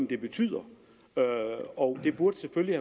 det betyder og det burde selvfølgelig